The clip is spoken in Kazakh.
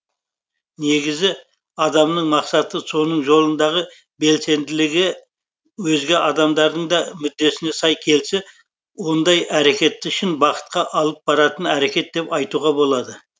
негізі адамның мақсаты соның жолындағы белсенділігі өзге адамдардың да мүддесіне сай келсе ондай әрекетті шын бақытқа алып баратын әрекет деп айтуға болады